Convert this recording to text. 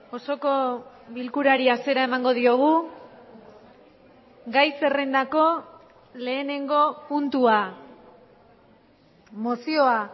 osoko bilkurari hasiera emango diogu gai zerrendako lehenengo puntua mozioa